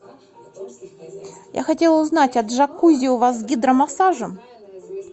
я хотела узнать а джакузи у вас с гидромассажем